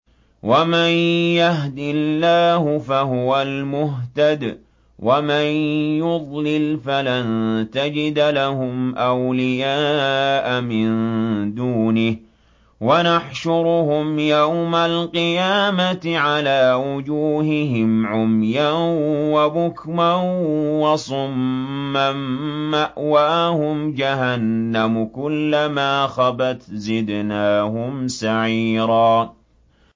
وَمَن يَهْدِ اللَّهُ فَهُوَ الْمُهْتَدِ ۖ وَمَن يُضْلِلْ فَلَن تَجِدَ لَهُمْ أَوْلِيَاءَ مِن دُونِهِ ۖ وَنَحْشُرُهُمْ يَوْمَ الْقِيَامَةِ عَلَىٰ وُجُوهِهِمْ عُمْيًا وَبُكْمًا وَصُمًّا ۖ مَّأْوَاهُمْ جَهَنَّمُ ۖ كُلَّمَا خَبَتْ زِدْنَاهُمْ سَعِيرًا